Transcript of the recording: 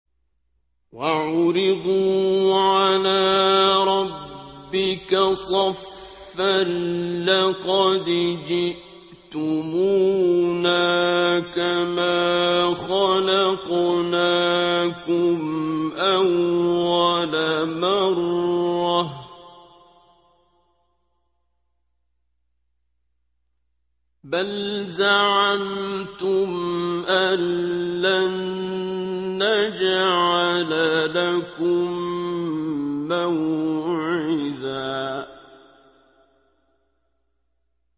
وَعُرِضُوا عَلَىٰ رَبِّكَ صَفًّا لَّقَدْ جِئْتُمُونَا كَمَا خَلَقْنَاكُمْ أَوَّلَ مَرَّةٍ ۚ بَلْ زَعَمْتُمْ أَلَّن نَّجْعَلَ لَكُم مَّوْعِدًا